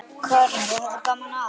Karen: Og hafði gaman af?